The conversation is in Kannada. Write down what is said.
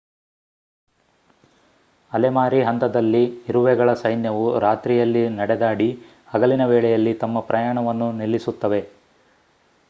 ಅಲೆಮಾರಿ ಹಂತದಲ್ಲಿ ಇರುವೆಗಳ ಸೈನ್ಯವು ರಾತ್ರಿಯಲ್ಲಿ ನಡೆದಾಡಿ ಹಗಲಿನ ವೇಳೆಯಲ್ಲಿ ತಮ್ಮ ಪ್ರಯಾಣವನ್ನು ನಿಲ್ಲಿಸುತ್ತವೆ